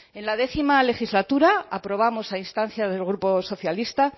en la décimo legislatura aprobamos a instancia del grupo socialista